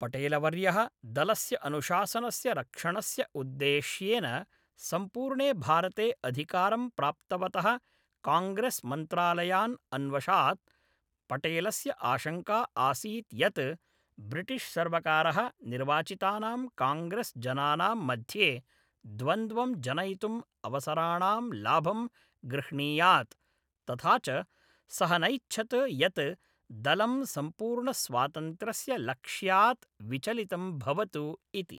पटेलवर्यः दलस्य अनुशासनस्य रक्षणस्य उद्देश्येन सम्पूर्णे भारते अधिकारं प्राप्तवतः काङ्ग्रेस्मन्त्रालयान् अन्वशात्, पटेलस्य आशङ्का आसीत् यत् ब्रिटिश्सर्वकारः निर्वाचितानां काङ्ग्रेस्जनानाम् मध्ये द्वन्द्वं जनयितुम् अवसराणां लाभं गृह्णीयात्, तथा च सः नैच्छत् यत् दलं सम्पूर्णस्वातन्त्र्यस्य लक्ष्यात् विचलितं भवतु इति।